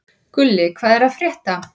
Gulli, hvað er að frétta?